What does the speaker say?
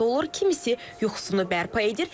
Kimisi yuxusunu bərpa edir.